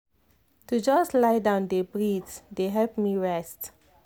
to just lie down dey breathe dey help me rest.